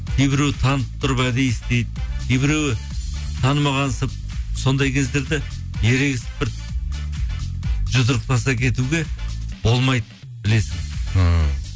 кейбіреуі танып тұрып әдейі істейді кейбіреуі танымағансып сондай кездерде ерегісіп бір жұдырықтаса кетуге болмайды білесіз